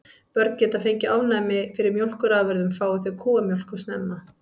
Börn geta fengið ofnæmi fyrir mjólkurafurðum fái þau kúamjólk of snemma.